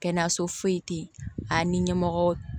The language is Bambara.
Kɛnɛyaso foyi tɛ yen a ni ɲɛmɔgɔ